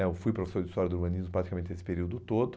né eu fui professor de história do urbanismo praticamente esse período todo.